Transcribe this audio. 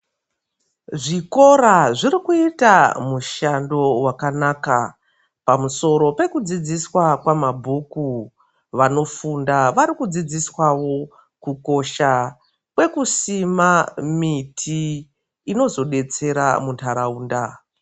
Zvikora zviri kuita mushando wakanaka pamusoro pekudzidziswa kwamabhuku vanofunda varikudzidziswawo kukosha kwekusima miti inozodetsera mundaraunda.